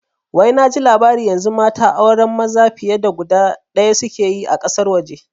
Wai naji labari yanzu mata auren maza fiye da guda ɗaya suke yi a ƙasar waje